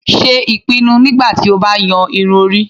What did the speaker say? Ṣe ipinnu nigbati o ba yan irun-ori